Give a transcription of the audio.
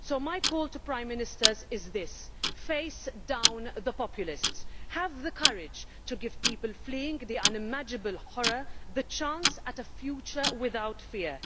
So my call to Prime Ministers is this face down the populists, have the courage to give people fleeing the unimaginable horror the chance of a future without fear.